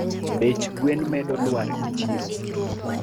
Bech gwen medo lwar e chiro